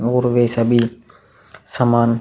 और वे सभी सामान --